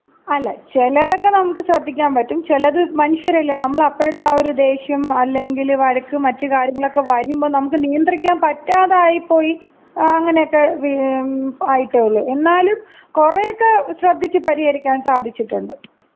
അല്ല, ചെലതൊക്കെ നമുക്ക് ശ്രദ്ധിക്കാമ്പറ്റും. ചെലത്, മനുഷ്യരല്ലേ? നമ്മള് അപ്പോഴത്ത ആ ഒരു ദേഷ്യം അല്ലെങ്കില് വഴക്കും മറ്റ് കാര്യങ്ങളൊക്കെ വരുമ്പോ നമുക്ക് നിയന്ത്രിക്കാൻ പറ്റാതായിപ്പോയി അങ്ങനെയൊക്കെ ആയിട്ടേ ഉള്ളൂ. എന്നാലും കൊറേക്ക ശ്രദ്ധിച്ച് പരിഹരിക്കാൻ സാധിച്ചിട്ടുണ്ട്.